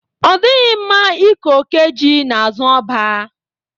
Ọ dịghị mma ike oke ji n'azụ ọba.